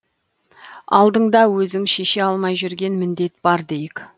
алдыңда өзің шеше алмай жүрген міндет бар дейік